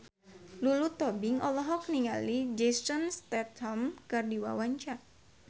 Lulu Tobing olohok ningali Jason Statham keur diwawancara